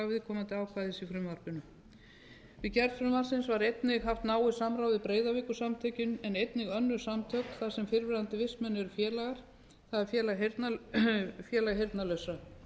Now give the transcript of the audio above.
viðkomandi ákvæðis í frumvarpinu við gerð frumvarpsins var einnig haft náið samráð við breiðavíkursamtökin en einni könnun samtök þar sem fyrrverandi vistmenn eru félagar það er félag heyrnarlausra